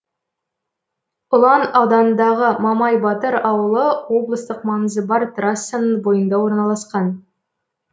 ұлан ауданындағы мамай батыр ауылы облыстық маңызы бар трассаның бойында орналасқан